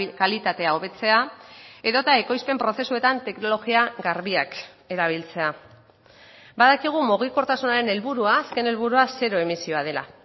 kalitatea hobetzea edota ekoizpen prozesuetan teknologia garbiak erabiltzea badakigu mugikortasunaren helburua azken helburua zero emisioa dela